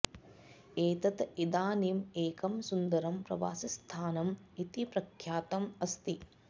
एतत् इदानीम् एकं सुन्दरं प्रवासीस्थानम् इति प्रख्यातम् अस्ति